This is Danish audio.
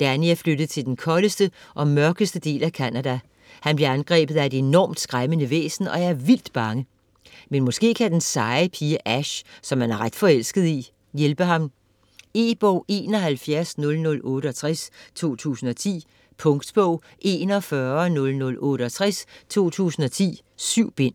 Danny er flyttet til den koldeste og mørkeste del af Canada. Han bliver angrebet af et enormt, skræmmende væsen og er vildt bange. Men måske kan den seje pige Ash, som han er ret forelsket i, hjælpe ham. E-bog 710068 2010. Punktbog 410068 2010. 7 bind.